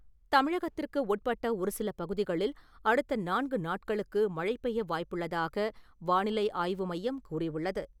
தமிழகத்திற்கு உட்பட்ட ஒரு சில பகுதிகளில் அடுத்த நான்கு நாட்களுக்கு மழை பெய்ய வாய்ப்புள்ளதாக வானிலைஆய்வு மையம் கூறியுள்ளது.